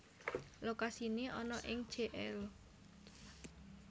Lokasine ana ing Jl